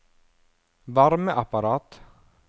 varmeapparat